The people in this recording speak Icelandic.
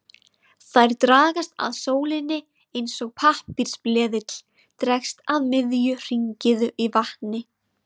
Þær dragast að sólinni eins og pappírsbleðill dregst að miðju hringiðu í vatni.